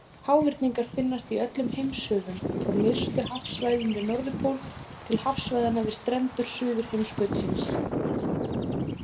Háhyrningar finnast í öllum heimshöfum, frá nyrstu hafsvæðunum við Norðurpól til hafsvæðanna við strendur Suðurheimskautsins.